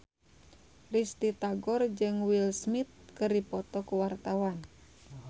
Risty Tagor jeung Will Smith keur dipoto ku wartawan